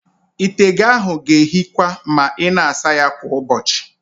Ite gị ahụ ga-èhíkwa ma ị na-asa ya kwa ụbọchị.